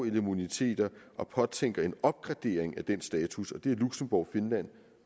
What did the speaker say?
immuniteter og påtænker en opgradering af den status og det er luxembourg finland